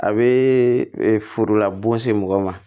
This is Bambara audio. A bɛ forola bon se mɔgɔ ma